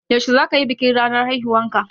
Yaushe zaka yi bikin ranar haihuwarka?